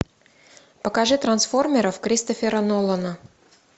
покажи трансформеров кристофера нолана